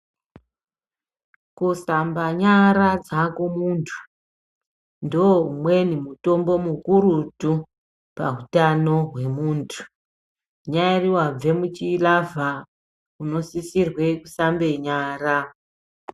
Kusamba nyara dzako muntu, ndoumweni mutombo mukurutu, pautano hwemuntu. Unyari wabve muchilavha, unosisirwe kusambe nyara.